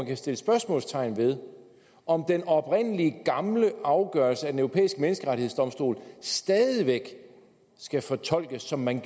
kan sættes spørgsmålstegn ved om den oprindelige gamle afgørelse af den europæiske menneskerettighedsdomstol stadig væk skal fortolkes som man